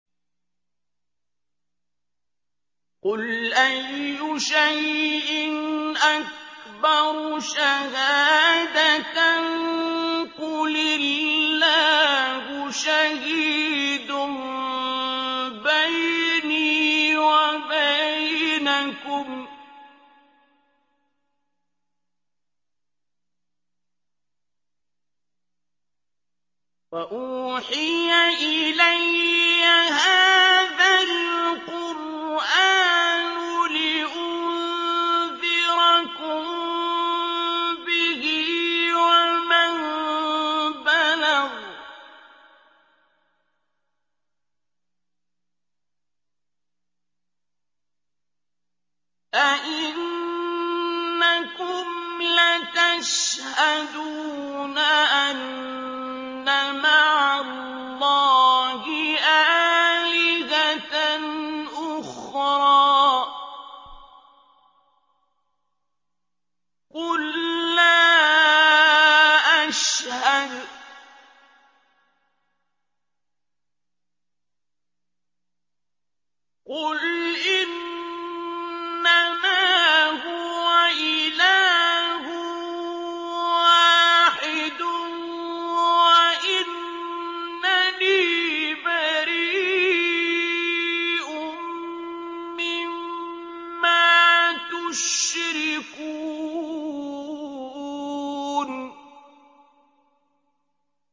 قُلْ أَيُّ شَيْءٍ أَكْبَرُ شَهَادَةً ۖ قُلِ اللَّهُ ۖ شَهِيدٌ بَيْنِي وَبَيْنَكُمْ ۚ وَأُوحِيَ إِلَيَّ هَٰذَا الْقُرْآنُ لِأُنذِرَكُم بِهِ وَمَن بَلَغَ ۚ أَئِنَّكُمْ لَتَشْهَدُونَ أَنَّ مَعَ اللَّهِ آلِهَةً أُخْرَىٰ ۚ قُل لَّا أَشْهَدُ ۚ قُلْ إِنَّمَا هُوَ إِلَٰهٌ وَاحِدٌ وَإِنَّنِي بَرِيءٌ مِّمَّا تُشْرِكُونَ